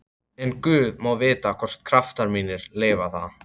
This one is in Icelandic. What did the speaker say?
En guð má vita hvort kraftar mínir leyfa það.